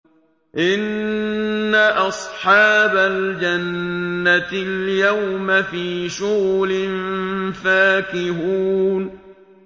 إِنَّ أَصْحَابَ الْجَنَّةِ الْيَوْمَ فِي شُغُلٍ فَاكِهُونَ